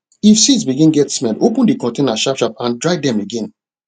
if seed begin get smell open the container sharpsharp and dry dem again